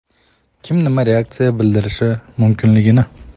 kim nima reaksiya bildirishi mumkinligini.